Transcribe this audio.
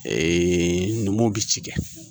numuw bɛ ci kɛ